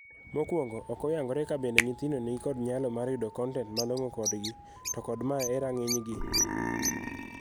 Mokuongo, ok oyangore ka bende nyithindo ni kod nyalo mar yudo kontent malong'o kodgi to kod mae e rang'ny gi.